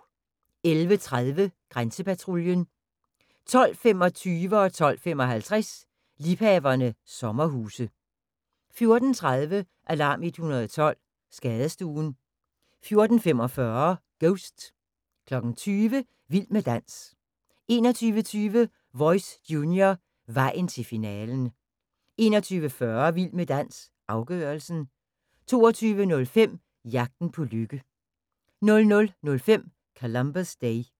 11:30: Grænsepatruljen 12:25: Liebhaverne – sommerhuse 12:55: Liebhaverne – sommerhuse 14:30: Alarm 112 – Skadestuen 14:45: Ghost 20:00: Vild med dans 21:20: Voice – junior, vejen til finalen 21:40: Vild med dans – afgørelsen 22:05: Jagten på lykke 00:05: Columbus Day